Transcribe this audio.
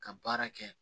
Ka baara kɛ